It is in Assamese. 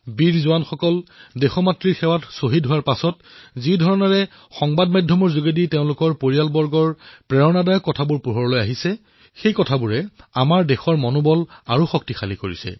বীৰ সৈনিকসকলৰ প্ৰাণত্যাগৰ পিছত সংবাদ মাধ্যমৰ জৰিয়তে তেওঁলোকৰ পৰিয়ালে যি প্ৰেৰণাদায়ী ভাষ্য প্ৰদান কৰিছে তাৰ দ্বাৰা সমগ্ৰ দেশ উৎসাহিত হৈছে